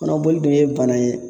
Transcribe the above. Kɔnɔboli dun ye bana ye